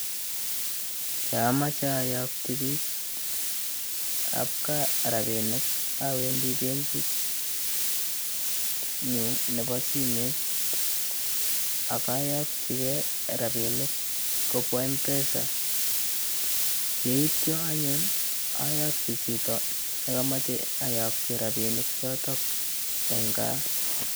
Yon omoche oyokyi biik ab gaa rabinik owendi benkitnyun nebo simet ak oyokyi kee rabinik kobwa Mpesa. Yeityo anyun, oyokyi chito anyun ne komoche oyokyi rabinik chotok en gaa.